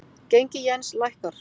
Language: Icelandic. Gengi jens lækkar